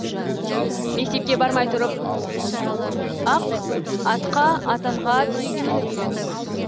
мектепке бармай тұрып ақ атқа атанға түйеге мініп үйрендік